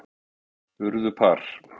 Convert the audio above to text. Urðu par.